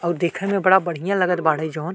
और देखे में बड़ा बढिया लगत बाड़े जौन।